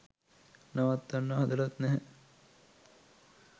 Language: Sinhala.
නවත්වන්න හදලත් නැහැ